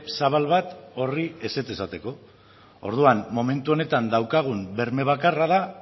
zabal bat horri ezetz esateko orduan momentu honetan daukagun berme bakarra da